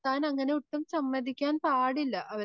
അങ്ങനെ ഒട്ടും സമ്മതിക്കാൻ പാടില്ല.